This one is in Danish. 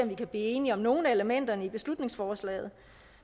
vi kan blive enige om nogle af elementerne i beslutningsforslaget